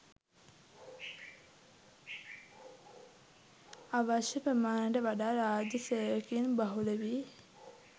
අවශ්‍ය ප්‍රමාණයට වඩා රාජ්‍ය සේවකයින් බහුල වීම